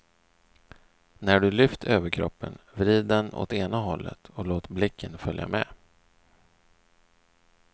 När du lyft överkroppen, vrid den åt ena hållet och låt blicken följa med.